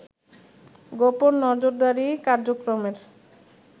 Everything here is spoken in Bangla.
গোপন নজরদারী কার্যক্রমের